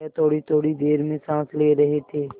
वह थोड़ीथोड़ी देर में साँस ले रहे थे